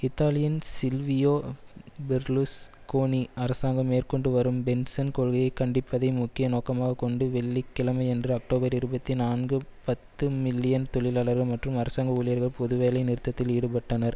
இத்தாலியின் Silvio Berlusconi அரசாங்கம் மேற்க்கொண்டு வரும் பென்சன் கொள்கையை கண்டிப்பதை முக்கிய நோக்கமாக கொண்டு வெள்ளி கிழமையன்று அக்டோபர் இருபத்தி நான்கு பத்து மில்லியன் தொழிலாளர்கள் மற்றும் அரசாங்க ஊழியர்கள் பொது வேலை நிறுத்தத்தில் ஈடுபட்டனர்